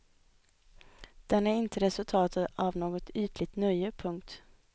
Den är inte resultatet av något ytligt nöje. punkt